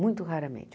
Muito raramente.